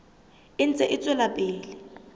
e ntse e tswela pele